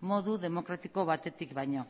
modu demokratiko batetik baino